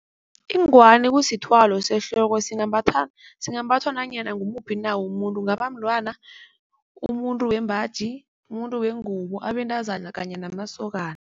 Ingwani kusithwalo sehloko. Singambhathwa nanyana ngumuphi umuntu kungaba mntwana, umuntu wembaji, umuntu wengubo, abentazana kanye namasokana.